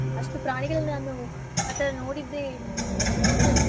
ಅಷ್ಟು ಪ್ರಾಣಿಗಳನ್ ನಾನು ಆ ತರಾ ನೋಡಿದ್ದೆ ಮೊದಲು.